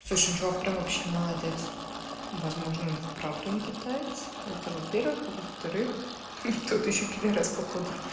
слушай ну чувак прям вообще молодец возможно он вправду не китаец это во-первых а во-вторых тот ещё пидарас походу